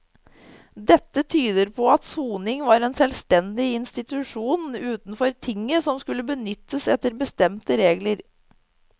Dette tyder på at soning var en selvstendig institusjon utenfor tinget som skulle benyttes etter bestemte regler.